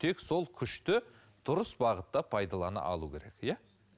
тек сол күшті дұрыс бағытта пайдалана алу керек иә